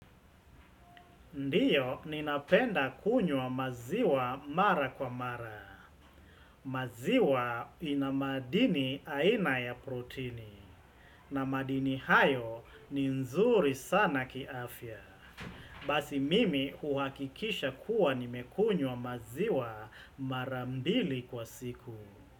Ndiyo, ninapenda kunywa maziwa mara kwa mara. Maziwa ina madini aina ya protini. Na madini hayo ni nzuri sana kiafya. Basi mimi hukakikisha kuwa nimekunywa maziwa mara mbili kwa siku.